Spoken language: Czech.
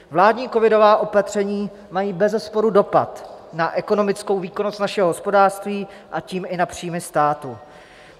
Vládní covidová opatření mají bezesporu dopad na ekonomickou výkonnost našeho hospodářství, a tím i na příjmy státu.